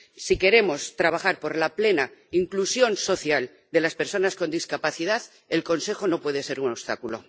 Si queremos trabajar por la plena inclusión social de las personas con discapacidad, el Consejo no puede ser un obstáculo.